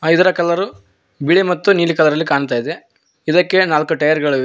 ಅ ಇದರ ಕಲರು ಬಿಳಿ ಮತ್ತು ನೀಲಿ ಕಲರಲ್ಲಿ ಕಾಣ್ತಾಇದೆ ಇದಕ್ಕೆ ನಾಲ್ಕು ಟಯರ್ ಗಳಿವೆ.